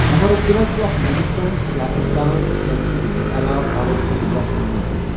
عُمَر عبدالله چھُ اَکھ ہِندوستٲنؠ سِیاسَتدان تہٕ سٲبِقہ ؤزیٖرِ اعلیٰ فاروق عبدالله سُنٛد نیٚچُو